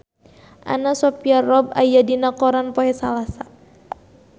Anna Sophia Robb aya dina koran poe Salasa